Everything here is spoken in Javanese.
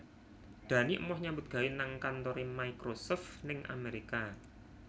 Dani emoh nyambut gawe nang kantore Microsoft ning Amerika